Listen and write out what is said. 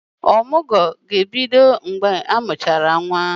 Ọmụgwọ ga-ebido mgbe amụchara nwa.